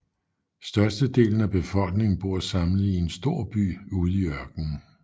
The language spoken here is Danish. Størstedelen af befolkningen bor samlet i en stor by ude i ørkenen